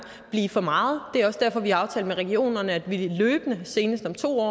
blive for meget det er også derfor vi har aftalt med regionerne at vi løbende og senest om to